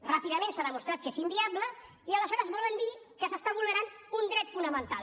ràpidament s’ha demostrat que és inviable i aleshores volen dir que s’està vulnerant un dret fonamental